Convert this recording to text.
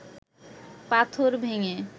পাথর ভেঙে